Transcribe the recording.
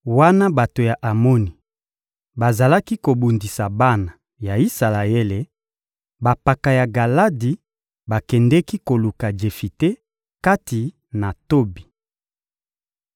Wana bato ya Amoni bazalaki kobundisa bana ya Isalaele, bampaka ya Galadi bakendeki koluka Jefite, kati na Tobi.